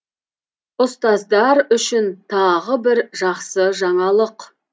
ұстаздар үшін тағы бір жақсы жаңалық